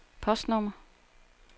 postnummer